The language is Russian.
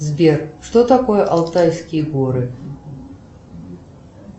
сбер что такое алтайские горы